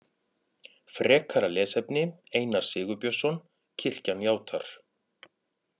Frekara lesefni Einar Sigurbjörnsson: Kirkjan játar.